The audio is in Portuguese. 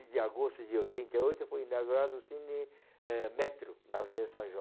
de agosto de trinta e oito foi inaugurado o Cine eh Metro, na Avenida São João.